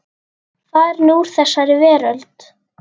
Farin úr þessari veröld.